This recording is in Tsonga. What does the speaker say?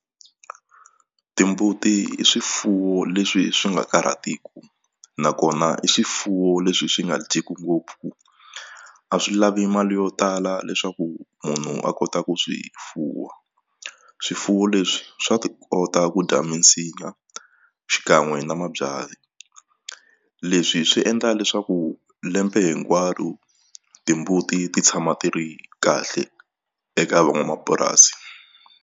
Timbuti i swifuwo leswi swi nga karhatiku nakona i swifuwo leswi swi nga dyeki ngopfu a swi lavi mali yo tala leswaku munhu a kota ku swi fuwa swifuwo leswi swa ti kota ku dya minsinya xikan'we na mabyanyi leswi swi endla leswaku lembe hinkwaro timbuti ti tshama ti ri kahle eka van'wamapurasi.